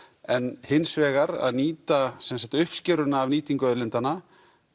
en hins vegar að nýta uppskeruna af nýtingu auðlindanna